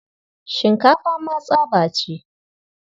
Shinkafa ma tsaba ce.